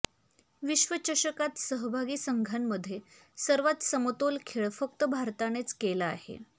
विश्वचषकात सहभागी संघांमध्ये सर्वात समतोल खेळ फक्त भारतानेच केला आहे